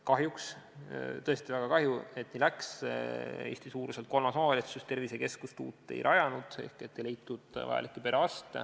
Kahjuks – tõesti väga kahju, et nii läks – Eesti suuruselt kolmas omavalitsus uut tervisekeskust ei rajanud, sest ei leitud vajalikke perearste.